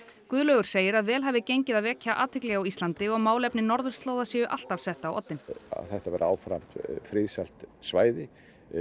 Guðlaugur segir að vel hafi gengið að vekja athygli á Íslandi og málefni norðurslóða séu alltaf sett á oddinn að þetta verði áfram friðsælt svæði